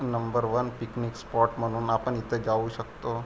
Number one picnic spot म्हणून आपण इथ जाऊ शकतो.